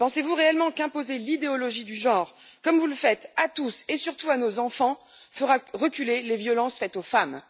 Pensez vous réellement qu'imposer l'idéologie du genre, comme vous le faites, à tous et surtout à nos enfants, fera reculer les violences faites aux femmes?